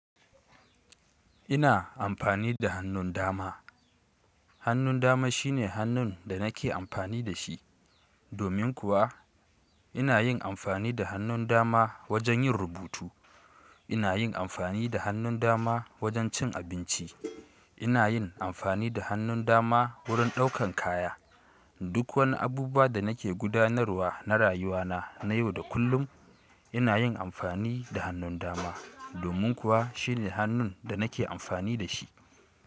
Ina amfani da hannun dama. Hannun dama shine hannun da nake amfani da shi. Domin kuwa ina yin amfani da hannun dama wajen yin rubutu. Ina yin amfani da hannun dama wajen cin abinci. Ina yin amfani da hannun dama wurin ɗaukan kaya. Duk wani abubuwa da nake gudanarwa na rayuwa na na yau da kullum ina yin amfani da hannun dama. Domin kuwa shine hannun da nake amfani da shi.